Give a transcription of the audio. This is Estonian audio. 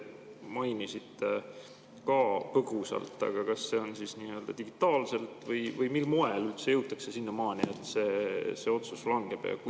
Te mainisite seda põgusalt, aga kas see toimub digitaalselt või mil moel üldse jõutakse sinnamaani, et see otsus langeb?